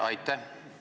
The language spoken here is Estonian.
Aitäh!